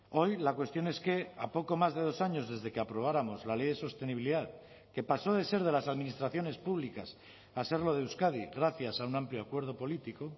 hoy la cuestión es que a poco más de dos años desde que aprobáramos la ley de sostenibilidad que pasó de ser de las administraciones públicas a serlo de euskadi gracias a un amplio acuerdo político